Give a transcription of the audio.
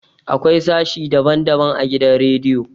Akwai sashe daban daban a gidan radiyo